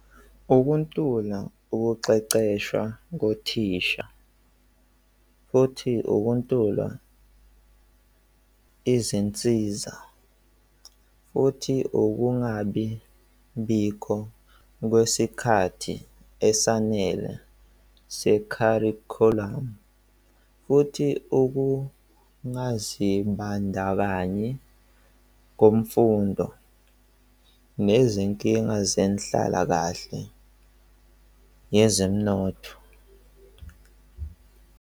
Ukuntula ukuqeqeshwa kothisha futhi ukuntula izinsiza, futhi ukungabi bikho kwesikhathi esanele se-curriculum. Futhi ukungazibandakanyi komfundo nezinkinga zenhlalakahle yezomnotho.